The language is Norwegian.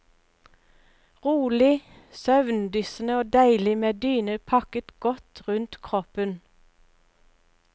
Rolig, søvndyssende og deilig med dyne pakket godt rundt kroppen.